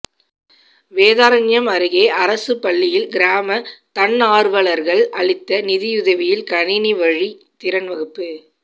வேதாரண்யம் அருகே அரசுப் பள்ளியில் கிராம தன்னாா்வலா்கள் அளித்த நிதியுதவியில் கணினி வழி திறன் வகுப்பு